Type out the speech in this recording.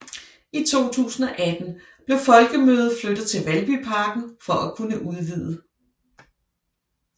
I 2018 blev folkemødet flyttet til Valbyparken for at kunne udvide